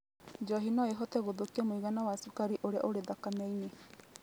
Njohi no ĩhote gũthũkia mũigana wa cukari ũrĩa ũrĩ thakame-inĩ.